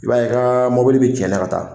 I b'a ye i ka mobili bɛ cɛnɛ ka taa